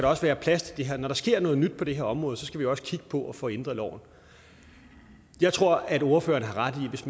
også være plads til det her når der sker noget nyt på det her område skal vi også kigge på at få ændret loven jeg tror at ordføreren har ret i at hvis